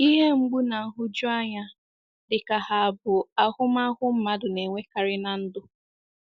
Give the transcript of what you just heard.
Ihe mgbu na nhụjuanya dịka ha abụ ahụmahụ mmadụ na-enwekarị ná ndụ.